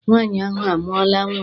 Nwaanyị ahụ amụọla nnwa?